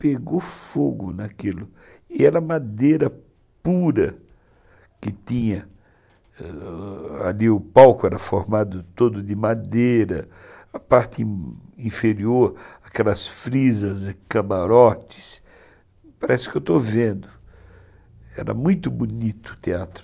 Pegou fogo naquilo e era madeira pura que tinha ali. O palco era formado todo de madeira. A parte inferior aquelas frisas e camarotes... parece que eu estou vendo. Era muito bonito, o teatro.